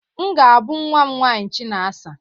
M ga-ábụ nnwa m nwaanyị Chinasa.